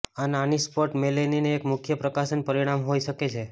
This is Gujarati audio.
આ નાની સ્પોટ મેલનિન એક મુખ્ય પ્રકાશન પરિણામ હોઈ શકે છે